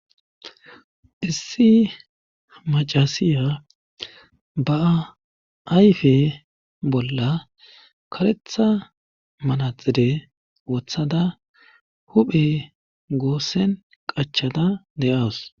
Issi macasiya ba'a ayfe bolla karetha malaxire wothada huphe goossen qachada de'awus.